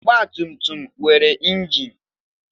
Ọgbatumtum nwere injin.